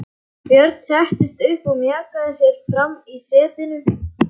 Björn settist upp og mjakaði sér fram í setinu.